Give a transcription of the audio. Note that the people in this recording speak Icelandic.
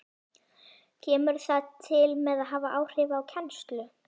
Kemur það til með að hafa áhrif á kennslu?